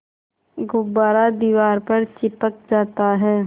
गुब्बारा दीवार पर चिपक जाता है